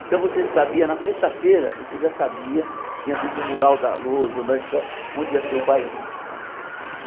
Então você sabia, na sexta-feira, você já sabia, tinha, às vezes, no mural da Lousa, ou na escola, onde ia ter o bailinho, né?